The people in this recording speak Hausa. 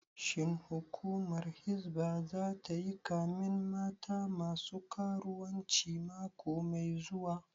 Shin hukumar hizba zata yi kamen mata masu karuwanci mako mai zuwa?